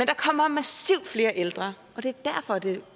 kommer massivt flere ældre og det